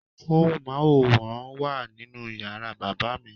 Móhùnmáwòrán wà nínú yàrá bàbá mi.